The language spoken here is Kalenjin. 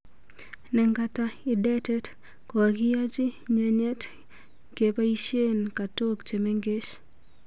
Nengata idetet ,kokakiyaji nyenyet ngepaichien katok che mengech.